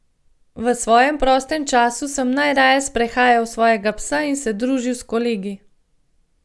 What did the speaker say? V svojem prostem času sem najraje sprehajal svojega psa in se družil z kolegi.